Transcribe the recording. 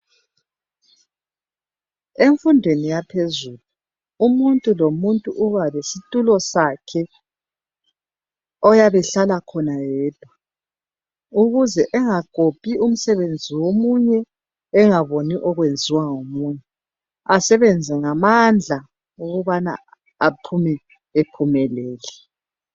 Emfundweni yaphezulu umuntu lomuntu uba lesitulo sakhe oyabe hlala khona yedwa ukuze engakopi umsebenzi womunye engaboni okwenziwa ngomunye esebenzae ngamandla ukubana aphume ephumelele.